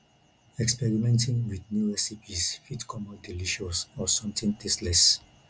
experimenting with new recipes fit come out delicious or something tasteless